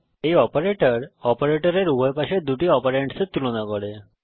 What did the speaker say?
এই অপারেটর অপারেটরের উভয় পাশের দুটি অপারেন্ডসের তুলনা করে